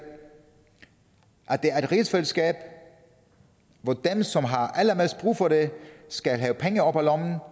rigsfællesskab hvor den som har allermest brug for det skal have penge op af lommen